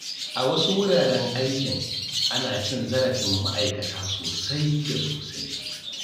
A wasu wuraren aiki, ana cin zarafin ma'aikata sosai da sosai.